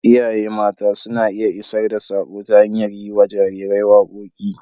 Iyaye mata suna iya isar da saƙo ta hanyar yi wa jarirai waƙoƙi.